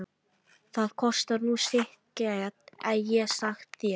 Það kostar nú sitt get ég sagt þér.